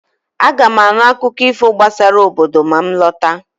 Aga m anụ akụkọ ifo gbasara obodo ma m lọta